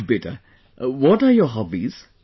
Good beta, what are your hobbies